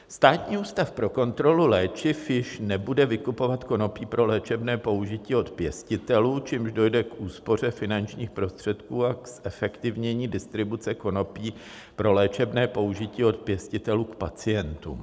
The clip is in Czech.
Státní ústav pro kontrolu léčiv již nebude vykupovat konopí pro léčebné použití od pěstitelů, čímž dojde k úspoře finančních prostředků a k zefektivnění distribuce konopí pro léčebné použití od pěstitelů k pacientům.